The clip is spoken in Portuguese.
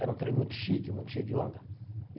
Era um trem muito chique, muito cheio de onda e.